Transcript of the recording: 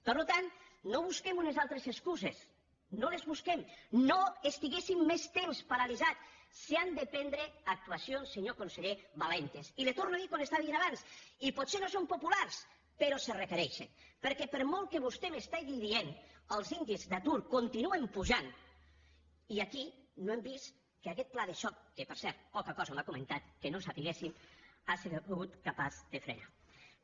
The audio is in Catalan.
per tant no busquem unes altres excuses no les busquem no estiguéssim més temps paralitzats s’han de prendre actuacions senyor conseller valentes i li torno a dir el que li estava dient abans i potser no són populars però se requereixen perquè per molt que vostè m’estigui dient els índexs d’atur continuen pujant i aquí no hem vist que aquest pla de xoc que per cert poca cosa m’ha comentat que no sabéssim hagi sigut capaç de frenar ho